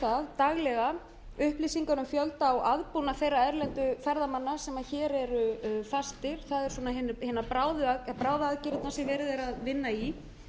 það daglega upplýsingar um fjölda og aðbúnað þeirra erlendu ferðamanna sem hér eru fastir það eru bráðaaðgerðirnar sem verið er að vinna í